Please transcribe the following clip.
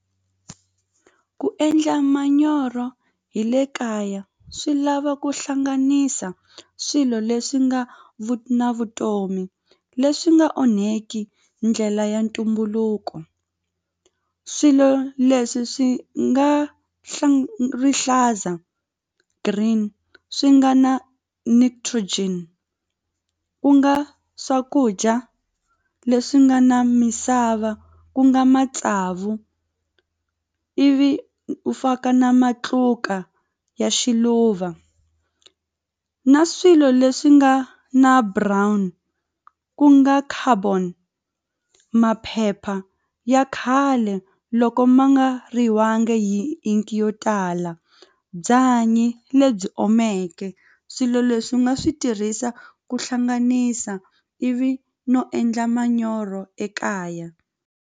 Ku endla manyoro hi le kaya swi lava ku hlanganisa swilo leswi nga na vutomi leswi nga onheki ndlela ya ntumbuluko swilo leswi swi nga rihlaza green swi nga na nitrogen ku nga swakudya leswi nga na misava ku nga matsavu ivi u faka na matluka ya xiluva na swilo leswi nga na brown ku nga carbon maphepha ya khale loko ma nga hi ink yo tala byanyi lebyi omeke swilo leswi nga swi tirhisa ku hlanganisa ivi no endla manyoro ekaya.